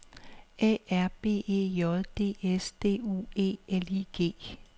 A R B E J D S D U E L I G